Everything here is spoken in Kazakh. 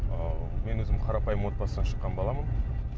ыыы мен өзім қарапайым отбасынан шыққан баламын